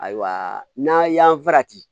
Ayiwa n'a y'an farati